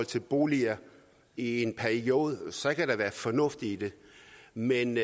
til boliger i en periode så kan der være fornuft i det men